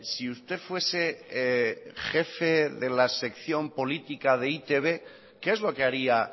si usted fuese jefe de la sección política de e i te be qué es lo que haría